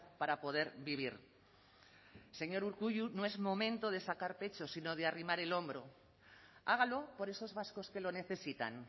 para poder vivir señor urkullu no es momento de sacar pecho sino de arrimar el hombro hágalo por esos vascos que lo necesitan